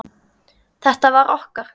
Þetta var okkar.